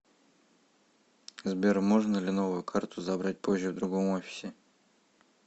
сбер можно ли новую карту забрать позже в другом офисе